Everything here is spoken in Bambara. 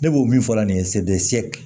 Ne b'o min fɔ la nin ye